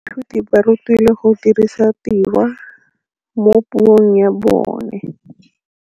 Baithuti ba rutilwe go dirisa tirwa mo puong ya bone.